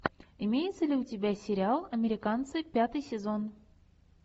имеется ли у тебя сериал американцы пятый сезон